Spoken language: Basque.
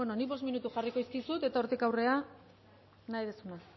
nik bost minutu jarriko dizkizut eta hortik aurrera nahi duzuna